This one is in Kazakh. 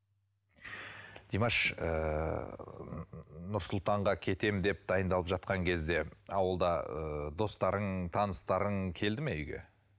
димаш ыыы нұр сұлтанға кетемін деп дайындалып жатқан кезде ауылда ы достарың таныстарың келді ме үйге